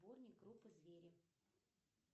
сборник группы звери